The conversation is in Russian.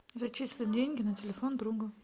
зачислить деньги на телефон друга